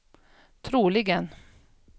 troligen